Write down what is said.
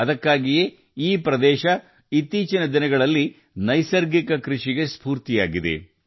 ಅದಕ್ಕಾಗಿಯೇ ಈ ಪ್ರದೇಶವು ಇತ್ತೀಚಿನ ದಿನಗಳಲ್ಲಿ ನೈಸರ್ಗಿಕ ಕೃಷಿಗೆ ಸ್ಫೂರ್ತಿಯಾಗಿದೆ